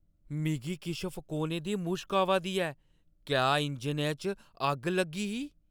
मिगी किश फकोने दी मुश्क आवा दी ऐ। क्या इंजनै च अग्ग लग्गी ही?